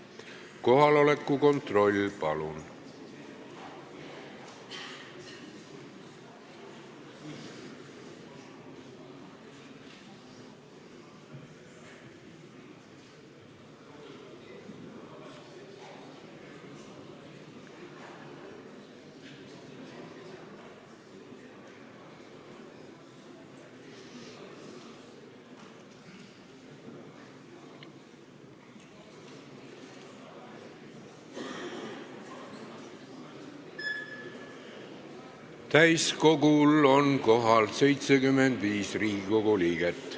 Kohaloleku kontroll Täiskogul on kohal 75 Riigikogu liiget.